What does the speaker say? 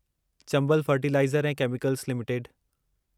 Chambal fertiliser ऐं chemicals limited